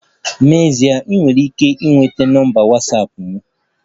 N'ezie, ị nwere ike ịnweta nọmba Watsapụ m